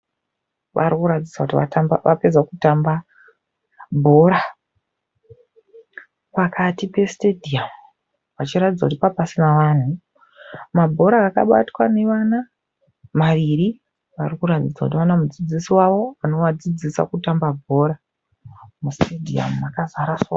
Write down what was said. Vari kuratidza kuti vapedza kutamba bhora. Pakati pesitedhiyamu. Vachiratidza kuti pange pasina vanhu. Mabhora akabatwa nevana maviri. Vari kuratidza kuti vana mudzidzisi wavo anovadzidzisa kutamba bhora. Musitedhiyamu makazara sora.